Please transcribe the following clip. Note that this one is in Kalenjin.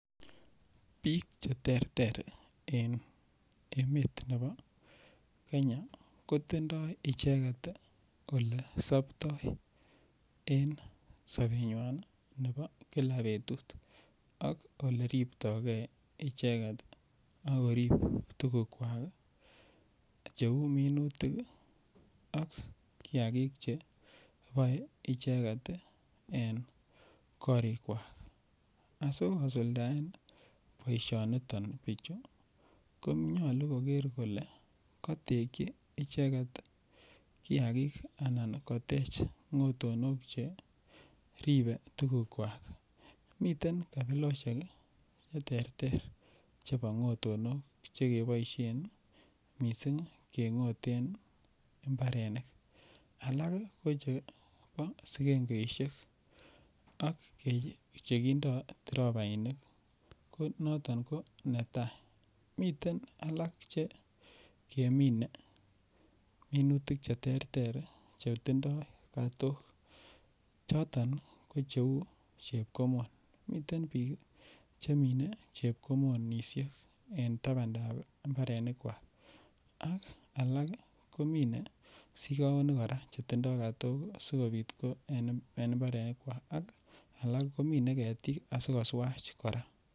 Biik che terter en emet nebo kenya ko tindoi icheget ii ole sobtoi en sobenywan nebo kila betut ak ole ripto gee icheget ak korib tugukwak che uu minutik ii ak kiagik che kiboe icheget ii en korikwak asi kosuldaen boisioniton bichu konyoluu koger kole kotekyi icheget kiagik anan kotech ngotonok che ribe tugukwak. Miten kabiloshek ii che terter chebo ngotonok che keboishen missing kengoten mbarenik alak ko chebo singengeishek ak chekindo tropainik ko noton ko netai miten alak che kemine minutik che terter che tindoi katok choton ko che uu chepkomon. Miten biik chemine chepkomonishek en tabandab mbarenikwak ak alak ii komine sigowonik koraa che tindo katok asikopit ko en mbarenikwak asikoswach koraa